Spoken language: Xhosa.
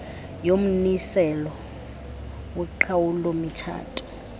yommiselo woqhawulo mitshato